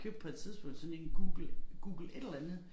Købte på et tidspunkt sådan en Google Google et eller andet